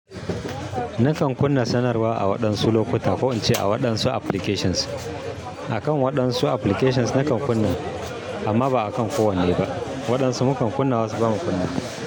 Nakan kunna sanarwa a waɗansu lokuta, ko in ce a waɗansu applications. A kan waɗansu applications nakan kunna, amma ba a kan kowanne ba. Waɗansu mukan kunna wasu ba mu kunna.